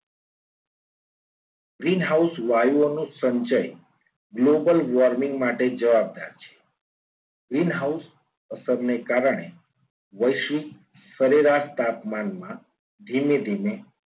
Green house વાયુઓનું સંચય global warming માટે જવાબદાર છે. green house અસરને કારણે વૈશ્વિક સરેરાશ તાપમાનમાં ધીમે ધીમે